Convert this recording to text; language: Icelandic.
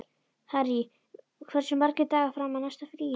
Harry, hversu margir dagar fram að næsta fríi?